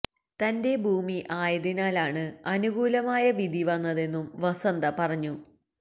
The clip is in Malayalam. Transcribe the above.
തന്റെ ഭൂമി ആയതിനാലാണ് അനുകൂലമായ വിധി വന്നതെന്നും വസന്ത പറഞ്ഞു